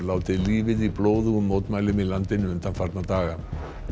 látið lífið í blóðugum mótmælum í landinu undanfarna daga